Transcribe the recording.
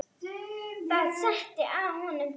Það setti að honum trega.